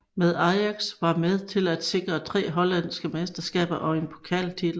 Med Ajax var med til at sikre tre hollandske mesterskaber og én pokaltitel